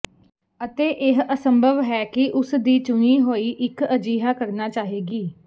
ਅਤੇ ਇਹ ਅਸੰਭਵ ਹੈ ਕਿ ਉਸਦੀ ਚੁਣੀ ਹੋਈ ਇੱਕ ਅਜਿਹਾ ਕਰਨਾ ਚਾਹੇਗੀ